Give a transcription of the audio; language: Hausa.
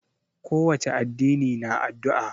Ko wace addini na addu'a.